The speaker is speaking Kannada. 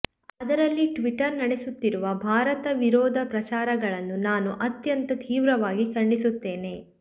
ಅದರಲ್ಲಿ ಟ್ವಿಟ್ಟರ್ ನಡೆಸುತ್ತಿರುವ ಭಾರತ ವಿರೋಧ ಪ್ರಚಾರಗಳನ್ನು ನಾನು ಅತ್ಯಂತ ತೀವ್ರವಾಗಿ ಖಂಡಿಸುತ್ತೇನೆ